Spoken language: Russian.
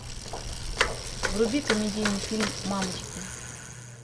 вруби комедийный фильм мамочки